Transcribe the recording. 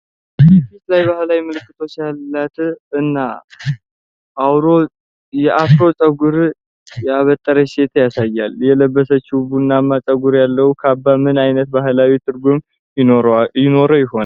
የፊት ላይ ባህላዊ ምልክቶች ያላት እና የአፍሮ ጸጉር ያበጠች ሴት ያሳያል። የለበሰችው ቡናማ ፀጉር ያለው ካባ ምን አይነት ባህላዊ ትርጉም ይኖረው ይሆን ?